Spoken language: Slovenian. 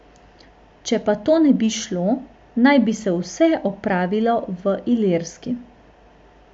Če pa to ne bi šlo, naj bi se vse opravilo v Ilirski.